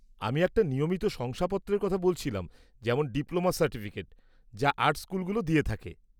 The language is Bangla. আমি একটা নিয়মিত শংসাপত্রের কথা বলছিলাম, যেমন ডিপ্লোমা সার্টিফিকেট, যা আর্ট স্কুলগুলো দিয়ে থাকে।